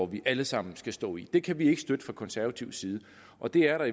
vi alle sammen skal stå i det kan vi ikke støtte fra konservativ side og det er der